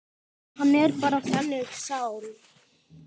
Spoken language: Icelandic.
Hann er bara þannig sál.